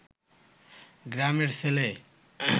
গ্রামের ছেলে